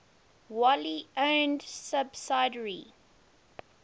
wholly owned subsidiary